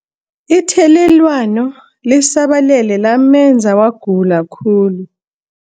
Ithelelwano lisabalele lamenza wagula khulu.